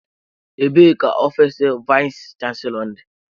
Ebee ka ofiisi vayis chansilọ dị?